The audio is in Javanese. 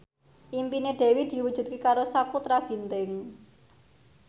impine Dewi diwujudke karo Sakutra Ginting